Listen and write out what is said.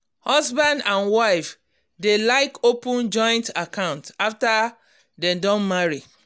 husband husband and wife dey like open joint account after dem don marry.